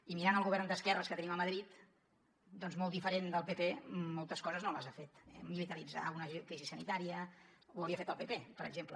i mirant el govern d’esquerres que tenim a madrid doncs molt diferent del pp moltes coses no les ha fet eh militaritzar una crisi sanitària ho hauria fet el pp per exemple